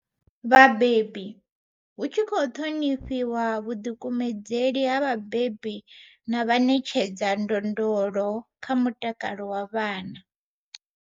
Vhabebi, hu tshi khou ṱhonifhiwa vhuḓikumedzeli ha vhabebi na Vhaṋetshedza ndondolo kha mutakalo wa vhana.